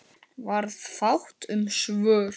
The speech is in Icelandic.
Varð fátt um svör.